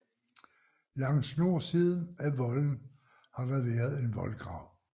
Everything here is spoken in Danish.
Langs nordsiden af volden har der været en voldgrav